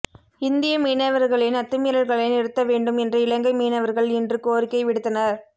இந்திய மீனவர்களின் அத்துமீறல்களை நிறுத்தவேண்டும் என்று இலங்கை மீனவர்கள் இன்று கோரிக்கை விடுத்தனர்